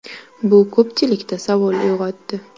Bu ko‘pchilikda savol uyg‘otdi.